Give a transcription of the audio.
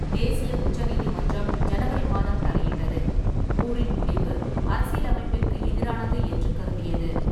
தேசிய உச்ச நீதிமன்றம் ஜனவரி மாதம் தலையிட்டது, மூரின் முடிவு அரசியலமைப்பிற்கு எதிரானது என்று கருதியது.